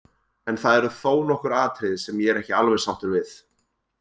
En það eru þó nokkur atriði sem ég er ekki alveg sáttur við.